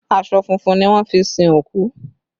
Aṣọ funfun ni wọ́n fi sin òkú